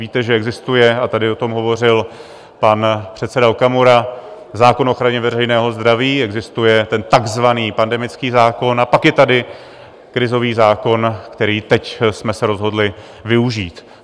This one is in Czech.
Víte, že existuje - a tady o tom hovořil pan předseda Okamura - zákon o ochraně veřejného zdraví, existuje ten takzvaný pandemický zákon, a pak je tady krizový zákon, který teď jsme se rozhodli využít.